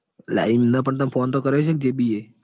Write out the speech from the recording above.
લ્યા એમનામ પણ phone તો કર્યો હશે ને જેબી એ?